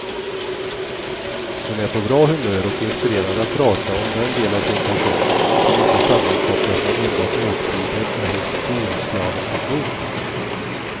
Hon är på bra humör och inspirerad att prata om den del av sin person, som inte sammankopplas med enbart åktider eller storslalomteknik.